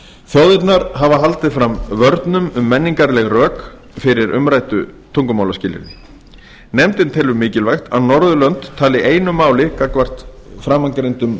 þjóðirnar hafa haldið fram vörnum um menningarleg rök fyrir umræddu tungumálaskilyrði nefndin telur mikilvægt að norðurlönd tali einu máli gagnvart framangreindum